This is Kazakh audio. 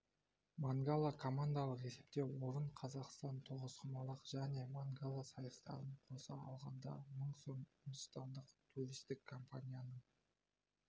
мангала командалық есепте орын қазақстан тоғызқұмалақ және мангала сайыстарын қоса алғанда мың сом үндістандық туристік компанияның